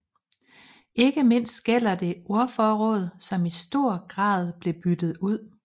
Ikke mindst gælder det ordforråd som i stor grad blev byttet ud